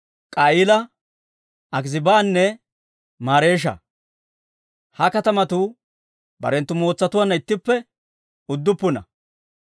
K'a'iila, Akiziibanne Mareesha. Ha katamatuu barenttu mootsatuwaanna ittippe udduppuna.